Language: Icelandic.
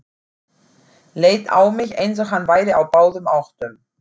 Leit á mig, eins og hann væri á báðum áttum.